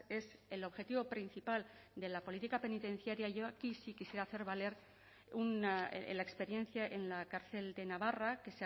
es el objetivo principal de la política penitenciaria yo aquí sí quisiera hacer valer la experiencia en la cárcel de navarra que